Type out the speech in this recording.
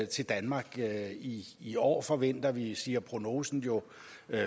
til danmark i i år forventer vi siger prognosen jo